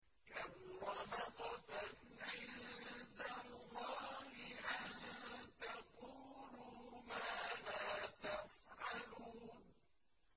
كَبُرَ مَقْتًا عِندَ اللَّهِ أَن تَقُولُوا مَا لَا تَفْعَلُونَ